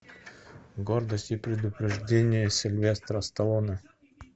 гордость и предубеждение сильвестра сталлоне